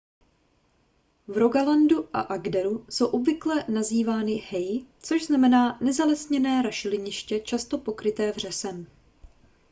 v rogalandu a agderu jsou obvykle nazývány hei což znamená nezalesněné rašeliniště často pokryté vřesem